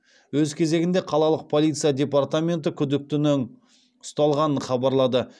өз кезегінде қалалық полиция департаменті күдіктінің ұсталғанын хабарлады